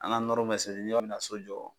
An ga nɔrɔ bɛ seri yani ka so jɔ